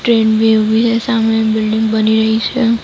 Train ભી ઉભી છે. સામે બિલ્ડીંગ બની રહી છે.